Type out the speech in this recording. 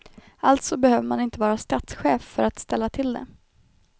Alltså behöver man inte vara statschef för att ställa till det.